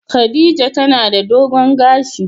Khadijah tana da dogon gashi.